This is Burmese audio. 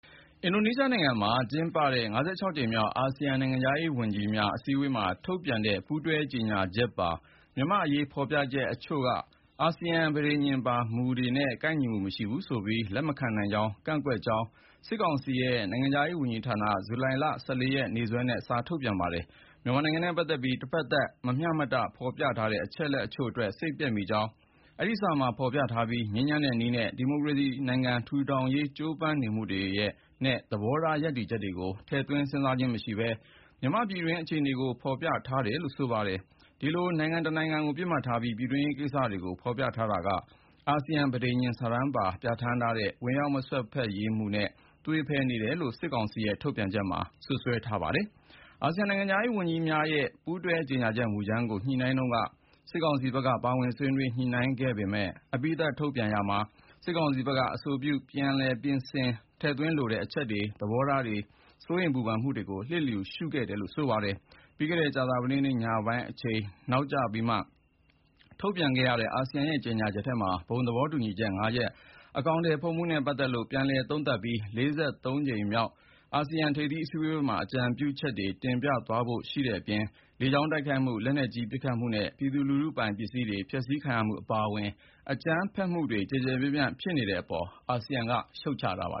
အင်ဒိုနီးရှားနိုင်ငံ ဂျကာတာမြို့တော်မှာ ကျင်းပခဲ့တဲ့ (၅၆)ကြိမ်မြောက် အာဆီယံ နိုင်ငံခြားရေးဝန်ကြီးများ အစည်းအဝေးမှာ ထုတ်ပြန်ခဲ့တဲ့ ပူးတွဲကြေညာချက်ပါ မြန်မာ့အရေး ဖော်ပြချက်အချို့က “အာဆီယံပဋိညာဉ်ပါမူကြီးများနဲ့ မကိုက်ညီဘူး” ဆိုပြီး လက်မခံဘဲ ကန့်ကွက်ကြောင်း စစ်ကောင်စီရဲ့ နိုင်ငံခြားရေးဝန်ကြီးဌာနက ဇူလိုင်လ ၁၄ ရက် ရက်စွဲနဲ့ စာထုတ်ပြန်ပါတယ်။ မြန်မာနိုင်ငံနဲ့ပတ်သက်ပြီး တဖက်သတ် မမျှမတ ဖော်ပြထားတဲ့ အချက်အလက်အချို့အတွက် စိတ်ပျက်မိကြောင်း အဲဒီစာမှာ ဖော်ပြထားပြီး ငြိမ်းချမ်းတဲ့နည်းနဲ့ ဒီမိုကရေစီနိုင်ငံ ထူထောင်ရေး ကြိုးပမ်းနေမှုတွေနဲ့ သဘောထား ရပ်တည်ချက်တွေကို ထည့်သွင်းစဉ်းစားခြင်းမရှိဘဲ မြန်မာ့ပြည်တွင်းရေး အခြေအနေတွေကို ဖော်ပြထားတယ်လို့ ဆိုပါတယ်။ ဒီလို နိုင်ငံတနိုင်ငံကို ပစ်မှတ်ထားပြီး ပြည်တွင်းရေးကိစ္စတွေကို ဖော်ပြထားတာက အာဆီယံပဋိညာဉ်စာတမ်းမှာ ပြဋ္ဌာန်းထားတဲ့ “ဝင်ရောက်မစွက်ဖက်ရေးမူ” နဲ့ သွေဖည်နေတယ်လို့ စစ်ကောင်စီရဲ့ ထုတ်ပြန်ချက်ထဲမှာ စွပ်စွဲထားပါတယ်။ အာဆီယံနိုင်ငံခြားရေးဝန်ကြီးများရဲ့ ပူးတွဲကြေညာချက် မူကြမ်းကို ညှိနှိုင်းတုန်းက စစ်ကောင်စီဘက်က ပါဝင်ဆွေးနွေးညှိနှိုင်းခဲ့ပေမယ့် အပြီးသတ် ထုတ်ပြန်ကြေညာရာမှာ စစ်ကောင်စီဘက်က အဆိုပြု ပြင်ဆင်ဖြည့်စွက်ထည့်သွင်းလိုတဲ့ အချက်တွေ၊ သဘောထားနဲ့ စိုးရိမ်ပူပန်မှုတွေကို လျစ်လျူရှုခဲ့တယ်လို့ ဆိုပါတယ်။ ပြီးခဲ့တဲ့ ကြာသပတေးနေ့ ညပိုင်းအချိန် နောက်ကျပြီးမှ ထုတ်ပြန်ခဲ့တဲ့ အာဆီယံရဲ့ကြေညာချက်ထဲမှ ဘုံသဘောတူညီချက် ၅ ချက် အကောင်အထည်ဖော်မှုနဲ့ ပတ်သက်လို့ ပြန်လည်သုံးသပ်ပြီး ၄၃ ကြိမ်မြောက် အာဆီယံထိပ်သီးအစည်းအဝေးမှာ အကြံပြုချက်တွေ တင်ပြသွားဖို့ ပါရှိတဲ့အပြင် လေကြောင်း တိုက်ခိုက်မှု၊ လက်နက်ကြီး ပစ်ခတ်မှုနဲ့ ပြည်သူလူထုပိုင် ပစ္စည်းတွေ ဖျက်ဆီးခံရမှုအပါအဝင် အကြမ်းဖက်မှုတွေ ကျယ်ကျယ်ပြန့်ပြန့် ဖြစ်နေတာပေါ် အာဆီယံက ရှုတ်ချထားပါ